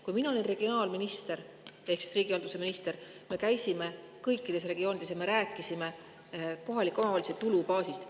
Kui mina olin regionaal‑ ehk riigihalduse minister, siis me käisime kõikides regioonides ja rääkisime kohaliku omavalitsuse tulubaasist.